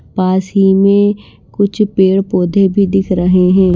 पास ही में कुछ पेड़-पौधे भी दिख रहे हैं।